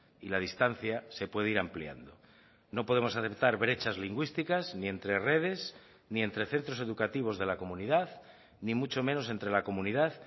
y la distancia se puede ir ampliando no podemos aceptar brechas lingüísticas ni entre redes ni entre centros educativos de la comunidad ni mucho menos entre la comunidad